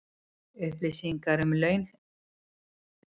Upplýsingar um laun ríkisstarfsmanna